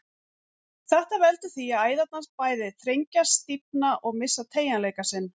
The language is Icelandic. Þetta veldur því að æðarnar bæði þrengjast, stífna og missa teygjanleika sinn.